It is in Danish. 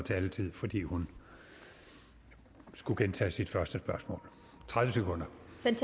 taletid fordi hun skulle gentage sit første spørgsmål tredive sekunder